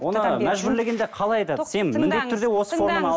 оны мәжбүрлегенде қалай айтады сен міндетті түрде осы форманы ал